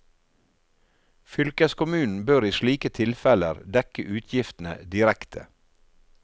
Fylkeskommunen bør i slike tilfeller dekke utgiftene direkte.